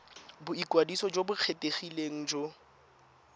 boikwadiso jo bo kgethegileng go